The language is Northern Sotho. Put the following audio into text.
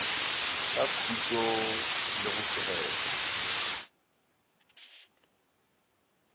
ka khutšo le go tlogela